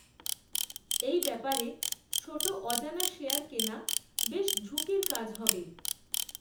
এই ব্যাপারে ছোট অজানা শেয়ার কেনা বেশ ঝুঁকির কাজ হবে